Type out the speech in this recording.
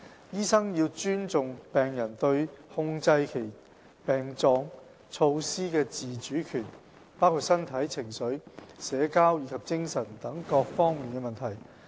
醫生要尊重病人對控制其症狀措施的自主權，包括身體、情緒、社交及精神等各方面的問題。